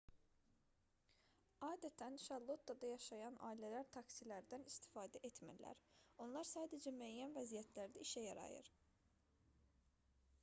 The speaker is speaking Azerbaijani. adətən şarlottada yaşayan ailələr taksilərdən istifadə etmirlər onlar sadəcə müəyyən vəziyyətlərdə işə yarayır